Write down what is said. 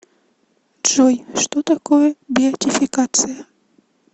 джой что такое беатификация